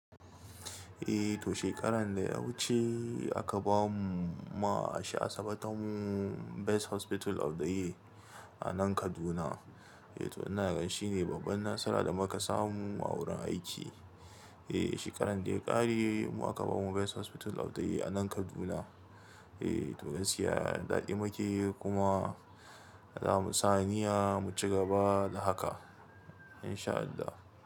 Eh to shekaran da ya wuce aka bamu ma asibitinmu Best Hospital of the Year a nan Kaduna. Eh to ina ganshi ne babbar nasara da muka samu a wurin aiki. Eh shekaran da ya kare mu aka bamu Best Hospital of the Year a nan Kaduna. Eh to gaski ya daɗi mu ke yi kuma za mu sa niyya mu cigaba da haka in sha Allah.